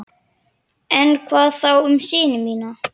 En hvað þá um syni mína?